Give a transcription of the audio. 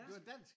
Det var dansk!